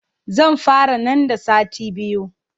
Zan fara nan da sati biyu.